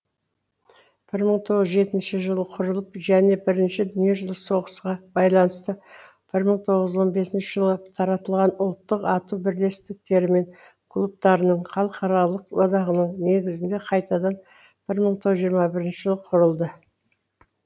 бір мың тоғыз жүз жетінші жылы құрылып және бірінші дүниежүзілік соғысқа байланысты бір мың тоғыз жүз он бесінші жылы таратылған ұлттық ату бірлестіктері мен клубтарының халықаралық одағының негізінде қайтадан бір мың тоғыз жүз жиырма бірінші жылы құрылды